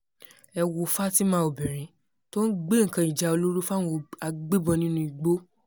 ẹ wo fatima obìnrin tó ń gbé nǹkan ìjà olóró fáwọn agbébọn nínú igbó